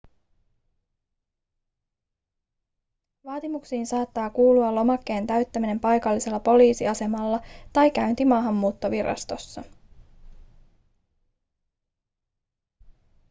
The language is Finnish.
vaatimuksiin saattaa kuulua lomakkeen täyttäminen paikallisella poliisiasemalla tai käynti maahanmuuttovirastossa